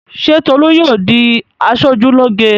Ṣé Tolú yóò di aṣojúlóge?